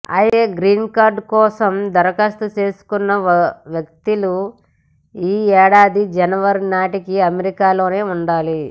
అయితే గ్రీన్కార్డుకోసం దరఖాస్తు చేసుకున్న వ్యక్తులు ఈ ఏడాది జనవరి నాటికి అమెరికాలోనే ఉండాలి